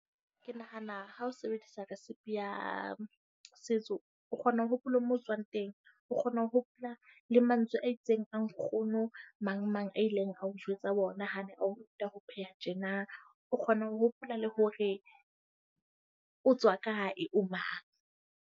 Ke nahana ha o sebedisa risepe ya setso. O kgona ho hopola mo o tswang teng. O kgona ho hopola le mantswe a itseng a nkgono mang mang a ileng a o jwetsa ha a ne a o ruta ho pheha tjena. O kgona ho hopola le hore o tswa kae o mang.